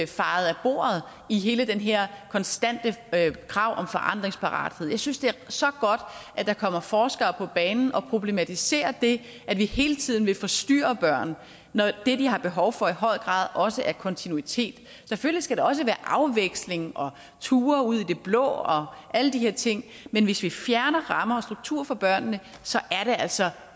fejet af bordet i hele det her konstante krav om forandringsparathed jeg synes det er så godt at der kommer forskere på banen og problematiserer det at vi hele tiden vil forstyrre børn når det de har behov for i høj grad også er kontinuitet selvfølgelig skal der også være afveksling og ture ud i det blå og alle de her ting men hvis vi fjerner rammer og strukturer fra børnene så er det altså